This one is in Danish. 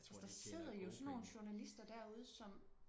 altså der sidder jo sådan nogle journalister derude som